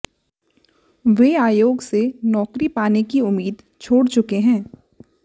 वे आयोग से नौकरी पाने की उम्मीद छोड़ चुके हैं